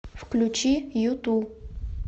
включи юту